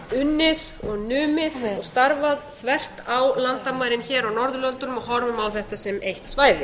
unnið og numið og starfað þvert á landamærin hér á norðurlöndunum og horfum á þetta sem eitt svæði